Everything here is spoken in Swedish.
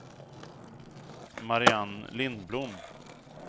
Mariann Lindblom